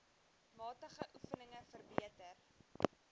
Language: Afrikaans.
matige oefeninge verbeter